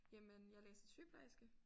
Jamen jeg læser sygeplejerske